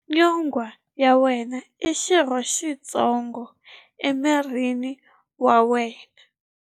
Nyonghwa ya wena i xirho xitsongo emirini wa wena.